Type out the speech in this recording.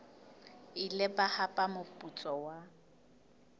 ile ba hapa moputso wa